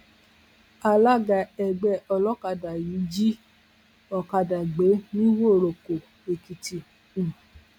alága ẹgbẹ olókàdá yìí jí ọkadà gbé nìwòròkó èkìtì um